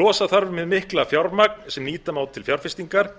losa þarf hið mikla fjármagn sem nýta má til fjárfestingar